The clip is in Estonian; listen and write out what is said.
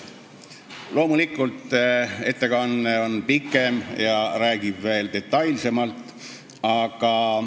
" Loomulikult on ettekanne pikem ja räägib asjast veel detailsemalt.